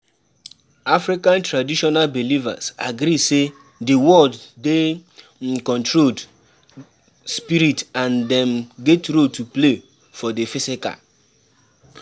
African Traditional Belivers agree sey di world dey um controlled spirit and dem get role to play for di physical